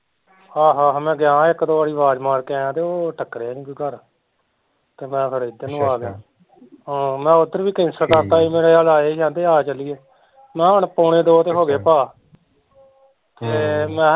ਆਹੋ ਆਹੋ ਮੈਂ ਗਿਆ ਇੱਕ ਦੋ ਵਾਰੀ ਅਵਾਜ ਮਾਰ ਕੇ ਆਇਆ ਤੇ ਓਹ ਟਕਰਿਆ ਨੀ ਕੋਈ ਘਰ ਤੇ ਮੈਂ ਫੇਰ ਇੱਧਰ ਨੂੰ ਆ ਗਿਆ ਤੇ ਹਾਂ ਮੈਂ ਉੱਦਰ ਵੀ cancel ਕਰਤਾ ਸੀ ਕਹਿੰਦੇ ਮੇਰੇ ਵੱਲ ਆਏ ਸੀ ਕਹਿੰਦੇ ਆ ਚੱਲੀਏ ਮੈਂ ਕਿਹਾ ਹੁਣ ਪੋਣੇ ਦੋ ਤੇ ਹੋਗੇ ਭਾ ਤੇ ਮੈਂ